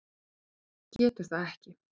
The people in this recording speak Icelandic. En þú getur það ekki.